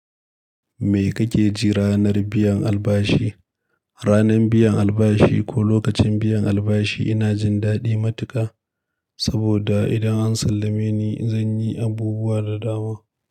Me kake ji ranar biyan albashi? Ranar biyan albashi ko lokacin biyan albashi ina jin daɗi matuƙa saboda idan an sallame ni zan yi abubuwa da dama.